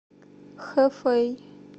хэфэй